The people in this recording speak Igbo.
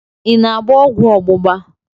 I na-agba ọgwụ ọgbụgba?